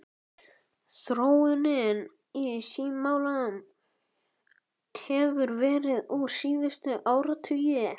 Þróunin í símamálum hefur verið ör síðustu áratugi.